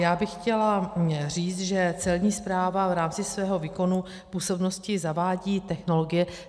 Já bych chtěla říct, že Celní správa v rámci svého výkonu působnosti zavádí technologie.